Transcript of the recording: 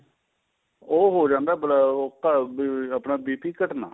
ਉਹ ਹੋ ਜਾਂਦਾ ਏ ਅਹ ਆਪਣਾ BP ਘਟਣਾ